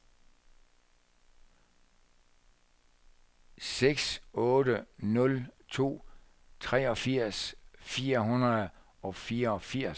seks otte nul to treogfirs fire hundrede og fireogfirs